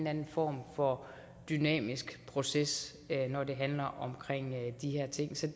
anden form for dynamisk proces når det handler om de her ting så